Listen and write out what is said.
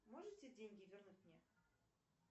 можете деньги вернуть мне